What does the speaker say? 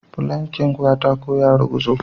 Filankin katako ya ruguzo.